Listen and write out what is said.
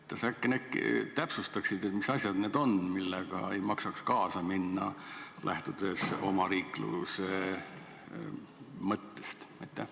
Kas äkki täpsustaksid, mis asjad need on, millega ei maksaks kaasa minna, lähtudes omariikluse mõttest?